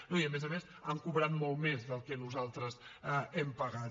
no i a més a més han cobrat molt més del que nosaltres hem pagat